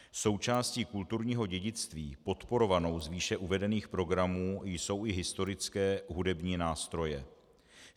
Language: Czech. Součástí kulturního dědictví podporovanou z výše uvedených programů jsou i historické hudební nástroje.